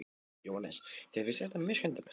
Jóhannes: Þér finnst þetta mjög skemmtilegt?